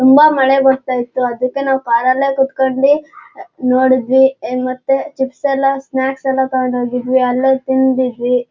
ತುಂಬಾ ಮಳೆ ಬರ್ತಯಿತ್ತು ಅದಕ್ಕೆ ನಾವು ಕಾರ್ ಅಲ್ಲೇ ಕುತ್ಕೊಂಡಿ ಅ ನೋಡಿದ್ವಿ ಎನ್ ಮತ್ತೆ ಚಿಪ್ಸ್ ಎಲ್ಲ ಸ್ನಾಕ್ಸ್ ಎಲ್ಲ ತಗೊಂಡೋಗಿದ್ವಿ ಅಲ್ಲೋಗ್ತಿಂದಿದ್ವಿ.